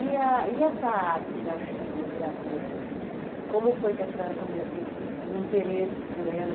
E a e essa arte da Chilo, gravura, como foi que a senhora come o interesse por ela?